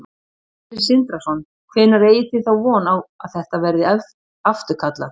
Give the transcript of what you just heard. Sindri Sindrason: Hvenær eigið þið þá von á að þetta verði afturkallað?